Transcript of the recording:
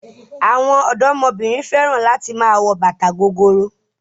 Àwọn ọ̀dọ́mọbìnrin fẹ́ràn láti máa wọ bàtà gogoro.